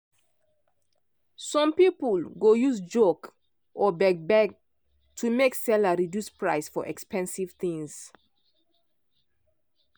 some people go use joke or beg-beg to make seller reduce price for expensive things.